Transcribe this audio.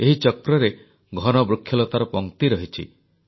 ଏହି ଚକ୍ରରେ ଘନ ବୃକ୍ଷଲତାର ପଂକ୍ତି ରହିଛି